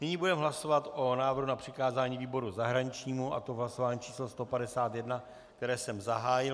Nyní budeme hlasovat o návrhu na přikázání výboru zahraničnímu, a to v hlasování číslo 151, které jsem zahájil.